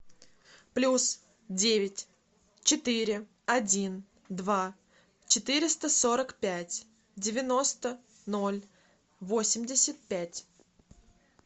плюс девять четыре один два четыреста сорок пять девяносто ноль восемьдесят пять